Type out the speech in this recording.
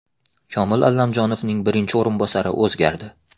Komil Allamjonovning birinchi o‘rinbosari o‘zgardi.